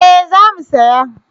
Eh za mu saya